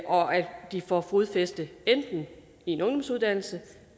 og at de får fodfæste enten i en ungdomsuddannelse